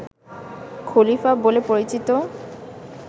খলিফা বলে পরিচিত